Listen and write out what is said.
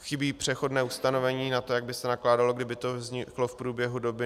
Chybí přechodné ustanovení na to, jak by se nakládalo, kdyby to vzniklo v průběhu doby.